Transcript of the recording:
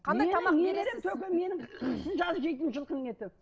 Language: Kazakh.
қысы жазы жейтін жылқының еті